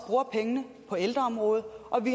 ældreområdet